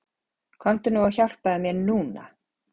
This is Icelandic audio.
Komdu nú og hjálpaðu mér NÚNA!